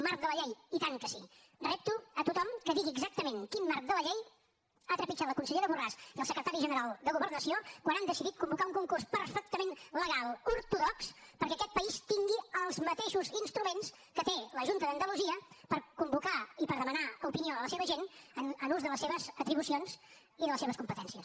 marc de la llei i tant que sí repto a tothom que digui exactament quin marc de la llei han trepitjat la consellera borràs i el secretari general de governació quan han decidit convocar un concurs perfectament legal ortodox perquè aquest país tingui els mateixos instruments que té la junta d’andalusia per convocar i per demanar opinió a la seva gent en ús de les seves atribucions i de les seves competències